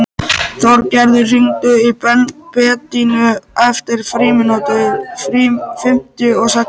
Þorgerður, hringdu í Bedínu eftir fimmtíu og sex mínútur.